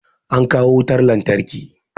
An kawo wutar lantarki